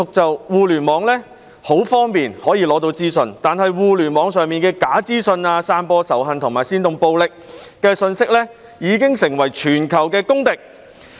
在互聯網上獲得資訊是很方便的，但互聯網上的假資訊、散播仇恨和煽動暴力的信息已經成為全球的公敵。